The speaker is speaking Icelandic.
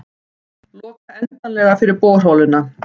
Loka endanlega fyrir borholuna